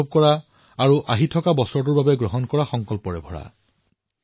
অধিকাংশ বাৰ্তাত বিগত বৰ্ষৰ অনুভৱ আৰু ২০২১ ৰ সৈতে জড়িত সংকল্পসমূহ আছে